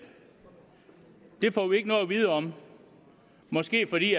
det får vi ikke noget at vide om måske fordi